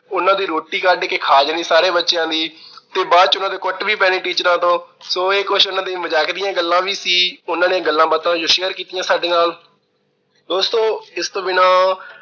ਉਹਨਾਂ ਦੀ ਰੋਟੀ ਕੱਢ ਕੇ ਖਾ ਲੈਣੀ, ਸਾਰੇ ਬੱਚਿਆਂ ਦੀ ਤੇ ਬਾਅਦ ਚ ਉਹਨਾਂ ਦੇ ਕੁੱਟ ਵੀ ਪੈਣੀ teachers ਤੋਂ। so ਇਹ ਕੁਛ ਉਹਨਾਂ ਦੇ ਮਜ਼ਾਕ ਦੀਆਂ ਗੱਲਾਂ ਵੀ ਸੀ। ਉਹਨਾਂ ਨੇ ਗੱਲਾਂ-ਬਾਤਾਂ ਜੋ share ਕੀਤੀਆਂ ਸਾਡੇ ਨਾਲ। ਦੋਸਤੋ ਇਸ ਤੋਂ ਬਿਨਾਂ